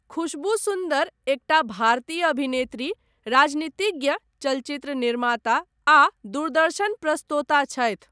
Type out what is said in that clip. खुशबू सुन्दर एकटा भारतीय अभिनेत्री, राजनीतिज्ञ, चलचित्र निर्माता, आ दूरदर्शन प्रस्तोता छथि।